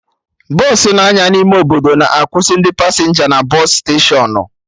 Bọsụ na-anya n'ime obodo na akwụsị ndị pasenja na bọsụ steshọnụ